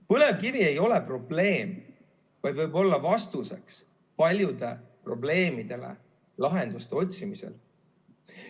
Põlevkivi ei ole probleem, vaid võib olla vastuseks paljudele probleemidele lahenduste otsimisel.